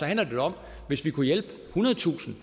handler jo om at hvis vi kunne hjælpe ethundredetusind